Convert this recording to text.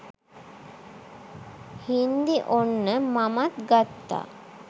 හින්දි ඔන්න මමත් ගත්තා